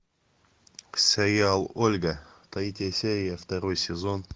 сериал ольга третья серия второй сезон